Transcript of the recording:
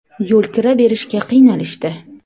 Yo‘lkira berishga qiynalishdi.